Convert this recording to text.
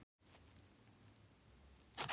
Kannski var bergbúinn enn kominn til að bjarga henni.